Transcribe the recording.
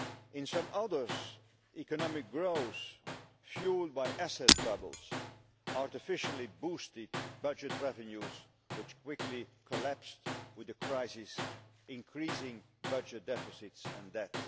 In some others, economic growth, fuelled by asset bubbles, artificially boosted budget revenues which quickly collapsed, with the crisis increasing budget deficits and debt.